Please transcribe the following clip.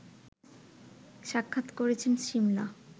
সাক্ষাৎ করেছেন সিমলা